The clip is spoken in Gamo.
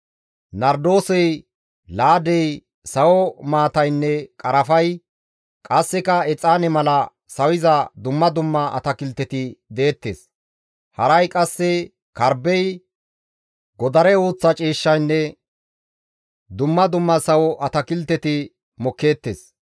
Nardoosey, laadey, sawo maataynne qarafay, qasseka exaane mala sawiza dumma dumma atakilteti deettes; haray qasse karbbey, godare uuththa ciishshaynne dumma dumma sawo atakilteti mokkeettes.